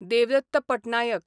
Devdatt Patnaik